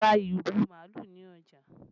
A ra irú màálù ni ọjà